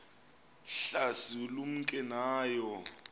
hlasi lumke nayo